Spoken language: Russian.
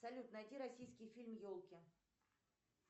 салют найти российский фильм елки